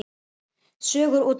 Sögur útgáfa.